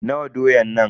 Nawa doyan nan?